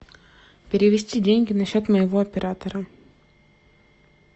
перевести деньги на счет моего оператора